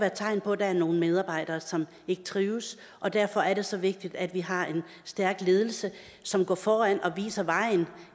et tegn på at der er nogle medarbejdere som ikke trives og derfor er det så vigtigt at vi har en stærk ledelse som går foran og viser vejen